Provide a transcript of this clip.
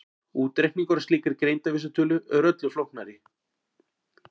Útreikningur á slíkri greindarvísitölu er öllu flóknari.